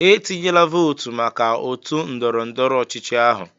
"Etinyela vootu maka otu ndọrọ ndọrọ ọchịchị ahụ"